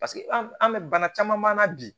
Paseke an bɛ bana caman na bi